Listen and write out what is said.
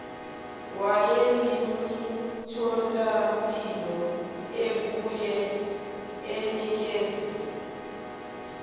walemitholampilo ebuye inikeze